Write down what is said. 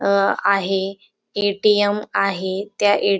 अंह आहे ए_टी_एम आहे त्या ए_टी --